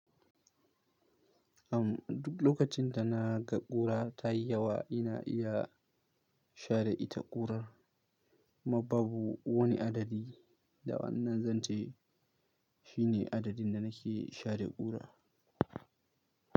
Am duk lokacin da na ga ƙura tayi yawa, ina iya share ita ƙurar. Kuma babu wani adadi da wannan zance shine adadin da nake share ƙura.